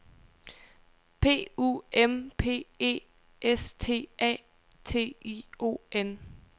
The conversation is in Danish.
P U M P E S T A T I O N